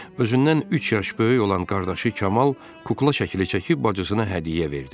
Özündən üç yaş böyük olan qardaşı Kamal kukla şəkili çəkib bacısına hədiyyə verdi.